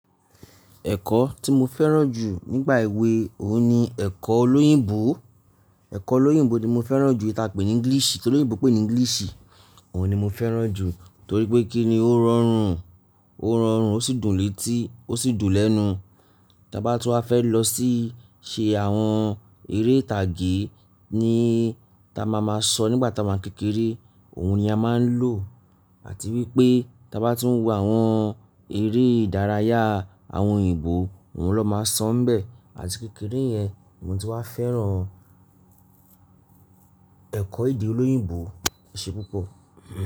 Ẹ̀kọ́ tí mo fẹ́ràn jù nígbà èwe òun ni ẹ̀kọ́ olóyìnbó. Ẹ̀kọ́ olóyìnbó ni mo fẹ́ràn jù, ìta pè ní English. Tí olóyìnbó pè ní English, òun ni mo fẹ́ràn jù. Torí pé kí ni, ó rọrùn, ó rọrùn, ó sì dùn létí, ó sì dùn lẹ́nu. Tí a bá tún wa fẹ́ lọ sí iṣe àwọn eré ìtàgé ni tí a máa máa sọ nígbà tí a wá ń kékeré, òun ni a máa ń lò. Àti wípé tí a bá tún wọ àwọn eré ìdárayá àwọn òyìnbó, òun ló máa sọ n bẹ́ẹ̀. Àti kékeré yẹn ni mo ti wá fẹ́ràn ẹ̀kọ́ èdè olóyìnbó. Ṣé púpọ̀